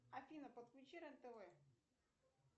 афина подключи рен тв